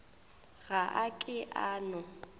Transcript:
ga a ke a no